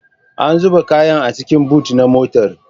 An zuba kayan a cikin bot na motar